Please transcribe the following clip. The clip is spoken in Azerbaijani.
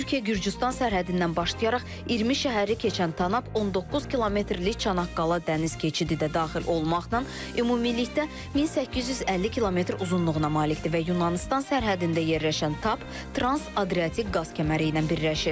Türkiyə Gürcüstan sərhədindən başlayaraq 20 şəhəri keçən Tanap 19 kilometrlik Çanaqqala dəniz keçidi də daxil olmaqla ümumilikdə 1850 km uzunluğuna malikdir və Yunanıstan sərhəddində yerləşən TAP Trans-Adriatik qaz kəməri ilə birləşir.